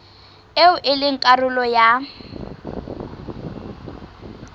eo e leng karolo ya